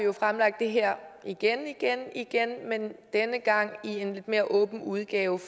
vi fremlagt det her igen igen igen men denne gang i en lidt mere åben udgave